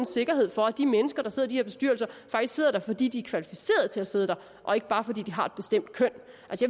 sikkerhed for at de mennesker der sidder i de her bestyrelser faktisk sidder der fordi de er kvalificerede til at sidde der og ikke bare fordi de har et bestemt køn